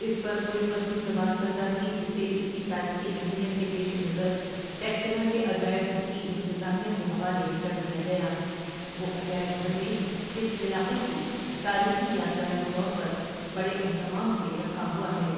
اس پر کوئی قدیم زبان کندہ تھی جسے اس کی تاریخی اہمیت کے پیش نظر ٹیکسلا کے عجائب گھر کی انتظامیہ کے حوالے کر دیا گیا وہ عجائب گھر میں اس علاقہ کی تاریخی یادگار کے طور پر بڑے اھتمام سے رکھا ھوا ہے۔